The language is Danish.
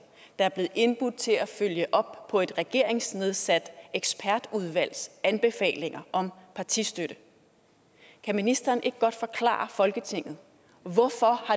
er blevet indbudt til at følge op på et regeringsnedsat ekspertudvalgs anbefalinger om partistøtte kan ministeren ikke godt forklare folketinget hvorfor